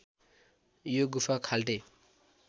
यो गुफा खाल्टे